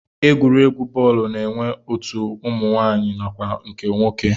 Egwuregwu bọọlụ na-enwe otu ụmụnwaanyị nakwa nke nwoke